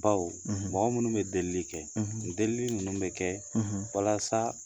Bawo mɔgɔ minnu bɛ delili kɛ, delili ninnu bɛ kɛ, walasa